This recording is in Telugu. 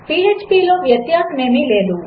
phpలోవ్యత్యాసమేమీలేదు